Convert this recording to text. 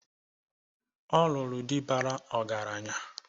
Ọ lụrụ di bara ọgaranya.